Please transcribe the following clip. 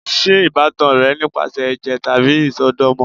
Ṣe ibatan rẹ nipasẹ ẹjẹ tabi isọdọmọ?